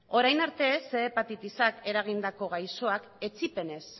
orain arte ehun hepatitisak eragindako gaixoak etsipenez